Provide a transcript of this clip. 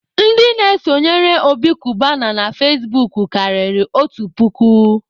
Ndị na-esonyere Obi Kubana na fezbuk karịrị otu puku.